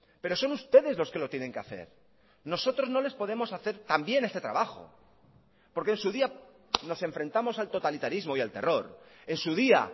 pero son ustedes los que lo tienen que hacer nosotros no les podemos hacer también este trabajo porque en su día nos enfrentamos al totalitarismo y al terror en su día